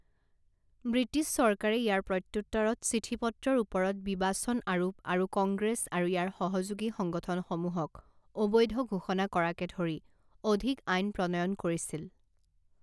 British চৰকাৰে ইয়াৰ প্ৰত্যুত্তৰত চিঠিপত্ৰৰ ওপৰত বিবাচন আৰোপ আৰু কংগ্ৰেছ আৰু ইয়াৰ সহযোগী সংগঠনসমূহক অবৈধ ঘোষণা কৰাকে ধৰি অধিক আইন প্ৰণয়ন কৰিছিল।